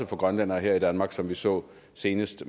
for grønlændere i danmark som vi så senest